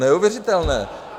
Neuvěřitelné.